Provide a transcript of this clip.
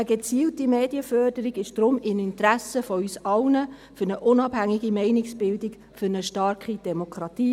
Eine gezielte Medienförderung ist deshalb in unser aller Interesse – für eine unabhängige Meinungsbildung, für eine starke Demokratie.